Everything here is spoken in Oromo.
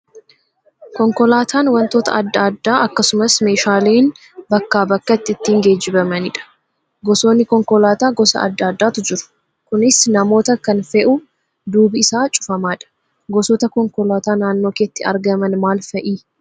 Konkolaataan wantoota adda addaa akkasumas meeshaaleen bakkaa bakkatti ittiin geejjibanidha. Gosoonni konkolaataa gosa adda addaatu jiru. Kunis namoota kan fe'u duubi isaa cufamaadha. Gosoota konkolaataa naannoo keetti argaman maal fa'ii?